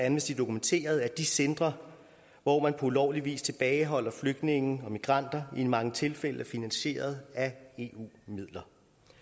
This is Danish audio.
amnesty dokumenteret at de centre hvor man på ulovlig vis tilbageholder flygtninge og migranter i mange tilfælde er finansieret af eu midler